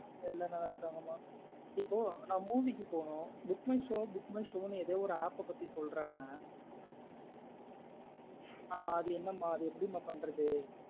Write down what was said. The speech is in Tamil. எல்லாம் நல்ல இருக்காங்கா மா இப்ப நா movie க்கு போன்னும் book my show book my show னு ஏதோ ஒரு app ஆ பத்தி சொல்றாங்க ஆஹ் அது என்ன மா அது எப்டி மா பண்றது.